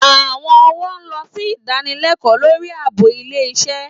Àwọn ọ̀wọ́ lọ sí ìdanilẹ́kọ̀ọ́ lórí ààbò ilé iṣẹ́